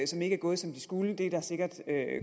som ikke er gået som de skulle og det er der sikkert